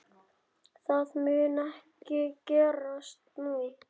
Það mun ekki gerast nú.